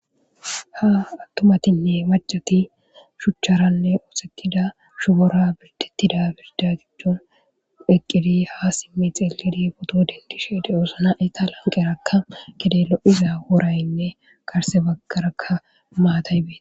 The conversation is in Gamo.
Ha attumatinne macati shuchcharanne oosetida shubora birdettida birda jujjon eqqidi ha simmi xeelidi boto dendishe de'oosana eta lanqerakka gede lo'iza woraynne garse baggarakka maatay bettes.